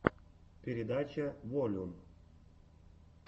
передача волюм